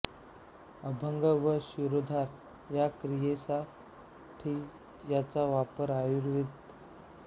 अभ्यंग व शिरोधारा या क्रियेसा ठी याचा वापरआयुर्वेद